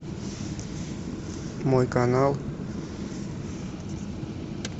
мой канал